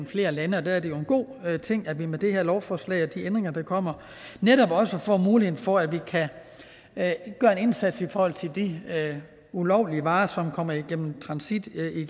flere lande og der er det jo en god ting at vi med det her lovforslag og de ændringer der kommer netop får mulighed for at at gøre en indsats i forhold til de ulovlige varer som kommer i transit i